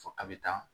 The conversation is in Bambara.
Fo a bɛ taa